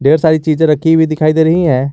सारी चीजे रखी हुई दिखाई दे रही हैं।